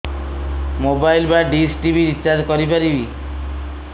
mobile ବା dish TV recharge କରି ପାରିବି